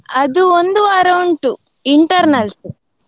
ಅದು ಒಂದು ವಾರ ಉಂಟು internals